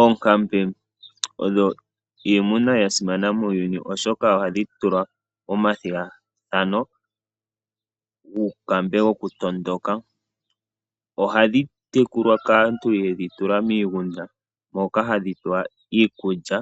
Oonkambe odho iimuna yasimana muuyuni oshoka ohadhi tulwa omathigathano wuunkambe wo kutondoka. Ohadhi tekulwa kaantu yedhi tula miigunda moka hadhi pe wa iikulya